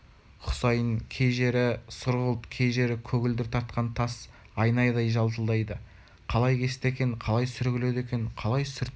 кей жері сұрғылт кей жері көгілдір тартқан тас айнадай жалтылдайды қалай кесті екен қалай сүргіледі екен қалай сүртті екен